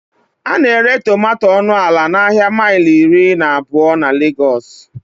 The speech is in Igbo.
A na-ere tomato ọnụ ala n'ahịa mile iri na abụọ na Legos